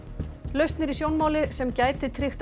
lausn er í sjónmáli sem gæti tryggt